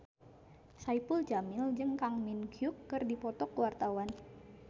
Saipul Jamil jeung Kang Min Hyuk keur dipoto ku wartawan